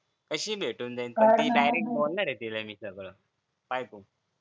कशी भेटून दे कशी direct बोलणार मी तिला सगळं पाय तू